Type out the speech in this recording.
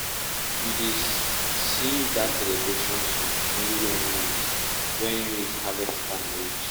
we dey sing that celebration song only when maize when maize harvest time reach.